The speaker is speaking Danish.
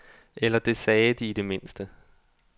Eller det sagde de i det mindste.